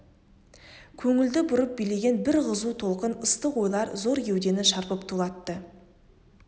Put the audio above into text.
көңілді бұрып билеген бір қызу толқын ыстық ойлар зор кеудені шарпып тулатты